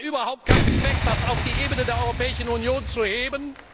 Aber es hat überhaupt keinen Zweck, das auf die Ebene der Europäischen Union zu heben.